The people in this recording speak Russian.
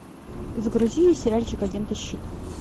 загрузи сериальчик агенты щит